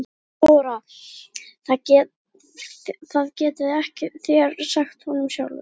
THEODÓRA: Það getið þér sagt honum sjálfur.